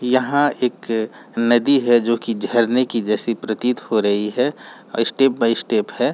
यहां एक नदी है जो कि झरने के जैसी प्रतीत हो रही है स्टेप बाय स्टेप है।